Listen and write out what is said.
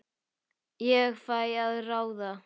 Ég fæ að ráða.